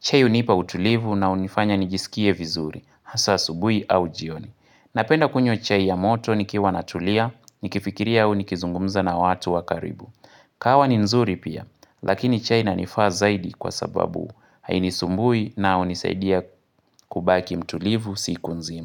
Chai hunipa utulivu unao nifanya nijisikie vizuri, hasaa asubuhi au jioni. Napenda kunywa chai ya moto nikiwa natulia, nikifikiria au nikizungumza na watu wakaribu. Kahawa ni nzuri pia, lakini chai inanifaa zaidi kwa sababu. Hainui sumbui na unisaidia kubaki mtulivu siku nzima.